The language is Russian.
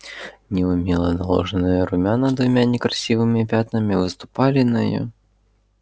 неумело наложенные румяна двумя некрасивыми пятнами выступали на её